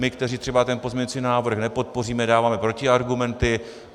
My, kteří třeba ten pozměňovací návrh nepodpoříme, dáváme protiargumenty.